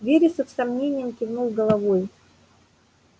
вересов с сомнением кивнул головой